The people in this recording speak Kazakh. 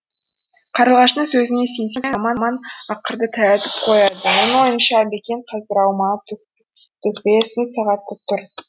қарлығаштың сөзіне сенсең заман ақырды таятып қояды оның ойынша әбекең қазір аумалы төкпелі сын сағатта тұр